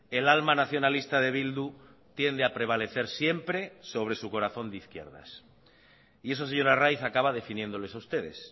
el alma nacionalista de bildu tiende a prevalecer siempre sobre su corazón de izquierdas y eso señor arraiz acaba definiéndoles a ustedes